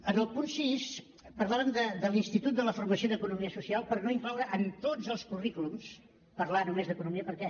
en el punt sis parlàvem de l’institut de la formació d’economia social per no incloure en tots els currículums parlar només d’economia perquè